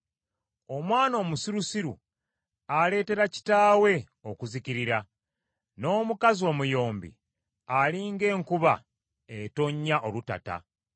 Omwana omusirusiru aleetera kitaawe okuzikirira, n’omukazi omuyombi ali ng’enkuba etonnya olutata.